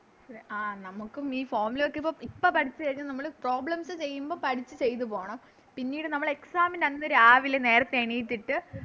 ആ നമുക്കും ഈ Formula ഒക്കെയിപ്പോ ഇപ്പൊ ഇപ്പോം പഠിച്ച് കഴിഞ്ഞ് നമ്മള് Problems ചെയ്യുമ്പോൾ പഠിച്ച് ചെയ്ത പോണം പിന്നീട് നമ്മള് Exam അന്ന് രാവിലെ നേരത്തെ എണീറ്റിട്ട്